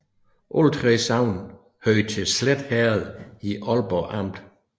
Alle 3 sogne hørte til Slet Herred i Aalborg Amt